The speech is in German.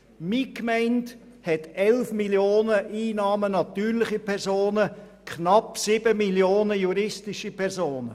Meine Gemeinde hat 11 Mio. Franken Einnahmen von natürlichen Personen und knapp 7 Mio. Franken von juristischen Personen.